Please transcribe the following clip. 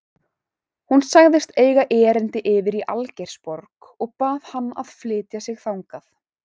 Hún sagðist eiga erindi yfir í Algeirsborg og bað hann að flytja sig þangað.